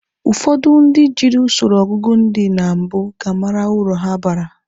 Ụfọdụ ndị jiri usoro ọgụgụ ndị na mbụ ga-ama uru ha bara.